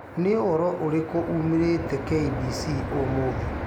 niũhoro ũrĩkũ umiirite k.bc.umuthi